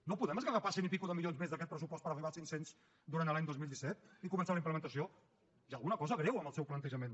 no podem esgarrapar cent milions i escaig més d’aquest pressupost per arribar als cinc cents durant l’any dos mil disset i començar la implementació hi ha alguna cosa greu en el seu plantejament